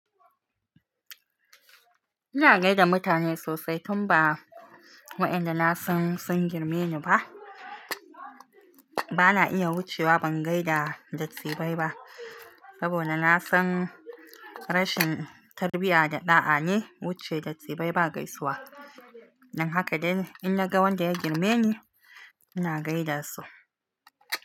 Ina gaida mutane sosai tun ba waɗanda na san sun girme ni ba. Bana iya wucewa ban gaida dattibai ba, saboda na san rashin tarbiyya da ɗa'a ne wuce dattibai ba gaisuwa. Dan haka dai in naga wanda ya girme ni ina gaida su.